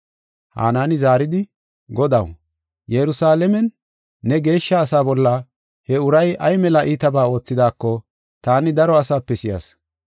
Hanaani zaaridi, “Godaw, Yerusalaamen ne geeshsha asaa bolla he uray ay mela iitabaa oothidaako taani daro asaape si7as.